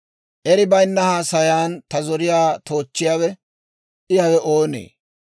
«Eri bayinna haasayan ta zoriyaa toochchiyaawe I hawe oonee?